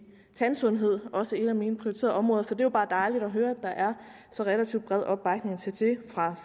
tandsundhed også et af mine prioriterede områder så det er jo bare dejligt at høre at der er så relativt bred opbakning til det fra